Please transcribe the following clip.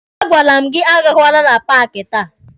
A gwara m gị agakwala na paaki taa!